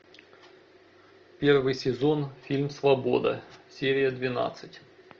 первый сезон фильм свобода серия двенадцать